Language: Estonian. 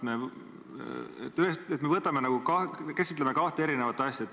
Me käsitleme nagu kahte eri asja.